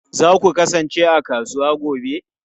Za ku kasance a kasuwa gobe?